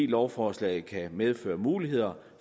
lovforslaget kan medføre muligheder